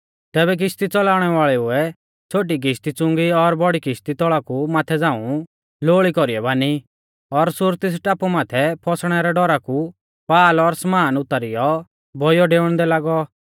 तैबै किश्ती च़ौलाउणै वाल़ेउऐ छ़ोटी किश्ती च़ुंगी और बौड़ी किश्ती तौल़ा कु माथै झ़ांऊ लोअल़ी कौरीऐ बानी और सूरतिस टापु माथै फौसणै रै डौरा कु पाल और समान उतारीयौ बौइयौ डेउंदै लागै